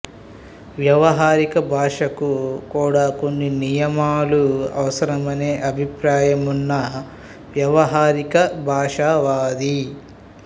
వ్యవహారిక భాషకు కూడా కొన్ని నియమాలు అవసరమనే అభిప్రాయమున్న వ్యవహారిక భాషవాది